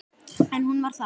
En hún var það.